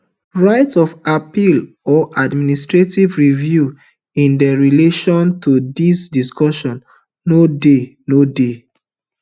right of appeal or administrative review in relation to dis decision no dey no dey